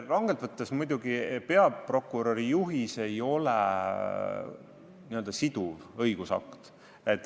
Rangelt võttes ei ole peaprokuröri juhis n-ö siduv õigusakt.